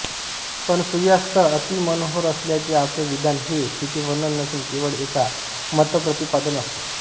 पण सूर्यास्त अतिमनोहर असल्याचे आपले विधान हे स्थितिवर्णन नसून केवळ एक मतप्रतिपादन असते